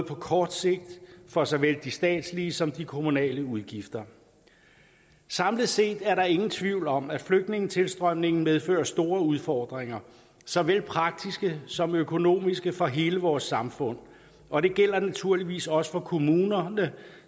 på kort sigt for såvel de statslige som de kommunale udgifter samlet set er der ingen tvivl om at flygtningetilstrømningen medfører store udfordringer såvel praktiske som økonomiske for hele vores samfund og det gælder naturligvis også for kommunerne